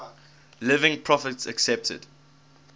living prophets accepted